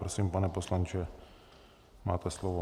Prosím, pane poslanče, máte slovo.